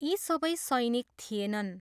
यी सबै सैनिक थिएनन्।